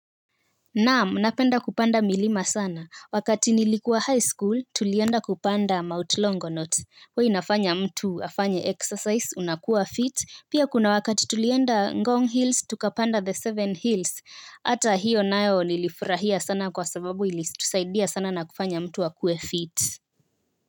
Naam, napenda kupanda milima sana. Wakati nilikuwa high school, tulienda kupanda Mount Long not. Huwa inafanya mtu afanye exercise unakuwa fit. Pia kuna wakati tulienda Ngong Hills, tukapanda the seven hills. Ata hiyo nayo nilifurahia sana kwa sababu ili tusaidia sana na kufanya mtu akuwe fit.